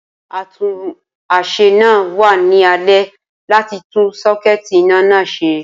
Atúnáṣe náà wa ni alẹ́ láti tun sakuiiti iná náà se